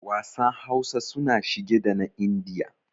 Wasan Hausa suna shige da na Indiya.